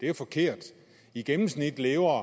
jo forkert i gennemsnit lever